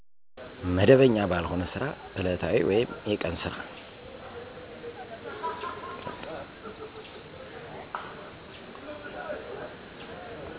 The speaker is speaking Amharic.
መደበኛ ባልሆነ ስራ እለታዊ ወይም የቀን ስራ